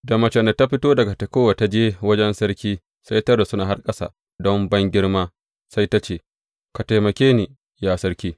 Da macen da ta fito daga Tekowa ta je wajen sarki, sai ta rusuna har ƙasa don bangirma, sai ta ce, Ka taimake ni, ya sarki!